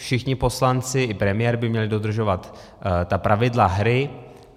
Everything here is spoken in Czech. Všichni poslanci i premiér by měli dodržovat ta pravidla hry.